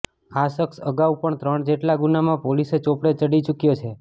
આ શખ્સ અગાઉ પણ ત્રણ જેટલા ગુનામાં પોલીસ ચોપડે ચડી ચુક્યો છે